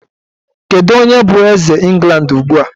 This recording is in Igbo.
Kedu onye bụ eze England ugbu a?